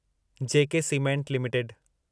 J K cement limited